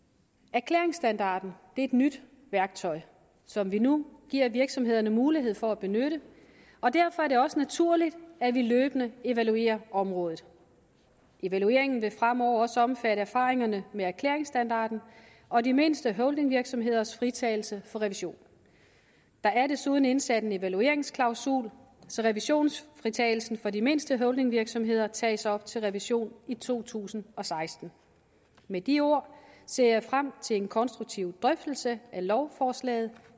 erklæringsstandarden er et nyt værktøj som vi nu giver virksomhederne mulighed for at benytte og derfor er det også naturligt at vi løbende evaluerer området evalueringen vil fremover også omfatte erfaringerne med erklæringsstandarden og de mindste holdingvirksomheders fritagelse for revision der er desuden indsat en evalueringsklausul så revisionsfritagelsen for de mindste holdingvirksomheder tages op til revision i to tusind og seksten med de ord ser jeg frem til en konstruktiv drøftelse af lovforslaget